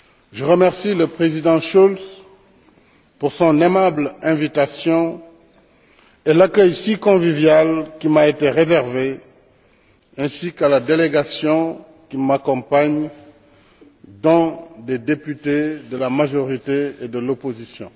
Je remercie le Président Schulz pour son aimable invitation et l'accueil si convivial qui m'a été réservé ainsi qu'à la délégation qui m'accompagne, dont des députés de la majorité et de l'opposition.